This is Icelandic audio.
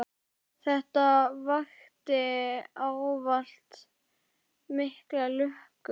Þetta vakti ávallt mikla lukku.